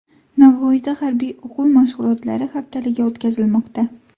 Navoiyda harbiy o‘quv mashg‘ulotlari haftaligi o‘tkazilmoqda .